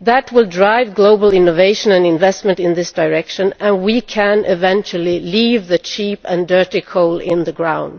that will drive global innovation and investment in this direction, so we can eventually leave the cheap and dirty coal in the ground.